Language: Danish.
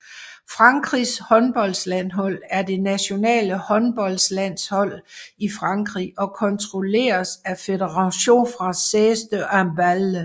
Frankrigs håndboldlandshold er det nationale håndboldlandshold i Frankrig og kontrolleres af Fédération française de handball